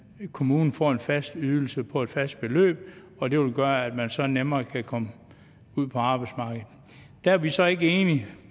kommunen får en fast ydelse på et fast beløb og det vil gøre at man så nemmere kan komme ud på arbejdsmarkedet der er vi så ikke enige